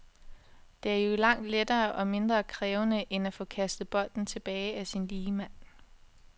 Det er jo langt lettere og mindre krævende, end at få kastet bolden tilbage af sin ligemand.